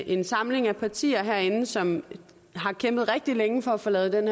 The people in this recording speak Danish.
en samling af partier herinde som har kæmpet rigtig længe for at få lavet den